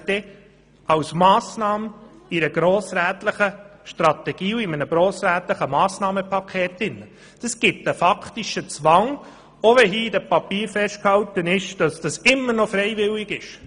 Eine Massnahme in einer grossrätlichen Strategie und dem dazu gehörenden Massnahmenpaket ergibt einen faktischen Zwang, auch wenn hier in den Papieren festgehalten ist, es sei immer noch freiwillig.